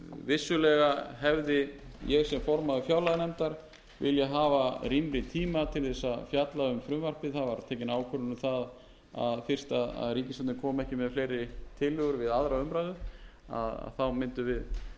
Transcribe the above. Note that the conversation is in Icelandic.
vissulega hefði ég sem formaður fjárlaganefndar viljað hafa rýmri tíma til þess að fjalla um frumvarpið það var tekin ákvörðun um það fyrst að ríkisstjórnin kom ekki með fleiri tillögur við aðra umræðu að þá mundum við klára þetta hér